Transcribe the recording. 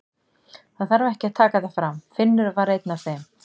Það þarf ekki að taka það fram, Finnur var einn af þeim.